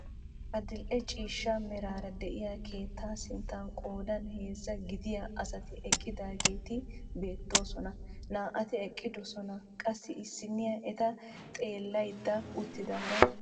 Adil"e ciishsha meraara de'iyaa keettaa sinttan qoodan heezzaa gidiyaa asati eqqidaageti beettoosona. naa"ati eqqidoosona qassi issiniyaa eta xeelliyaara uttidaara de'awus.